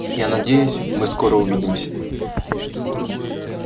я надеюсь мы скоро увидимся